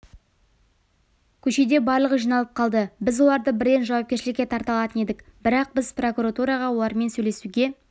көшеде барлығыжиналып қалды біз оларды бірден жауапкершілікке тарта алатын едік бірақ біз прокуратураға олармен сөйлесуге